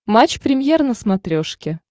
матч премьер на смотрешке